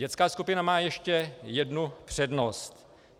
Dětská skupina má ještě jednu přednost.